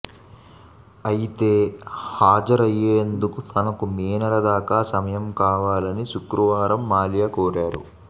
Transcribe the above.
అయితే హాజరయ్యేందుకు తనకు మే నెలదాకా సమయం కావాలని శుక్రవారం మాల్యా కోరారు